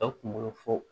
Aw kunkolo fo